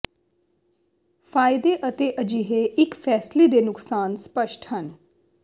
ਫ਼ਾਇਦੇ ਅਤੇ ਅਜਿਹੇ ਇੱਕ ਫੈਸਲੇ ਦੇ ਨੁਕਸਾਨ ਸਪੱਸ਼ਟ ਹਨ